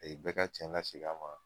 bɛɛ ka tiɲɛ laseg'a ma